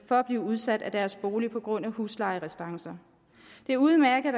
at blive udsat af deres bolig på grund af huslejerestancer det er udmærket